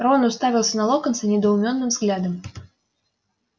рон уставился на локонса недоуменным взглядом